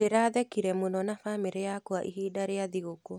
Ndĩrathekire mũno na bamĩrĩ yakwa ihinda rĩa thigũkũũ.